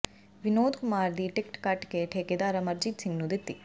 ਵਿਨੋਦ ਕੁਮਾਰ ਦੀ ਟਿਕਟ ਕੱਟ ਕੇ ਠੇਕੇਦਾਰ ਅਮਰਜੀਤ ਸਿੰਘ ਨੂੰ ਦਿੱਤੀ